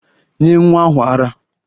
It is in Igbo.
Nye nwa ahu ara!